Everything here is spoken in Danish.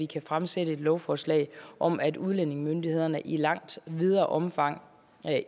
kan fremsætte et lovforslag om at udlændingemyndighederne i langt videre omfang